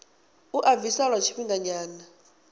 a u bvisa lwa tshifhinganyana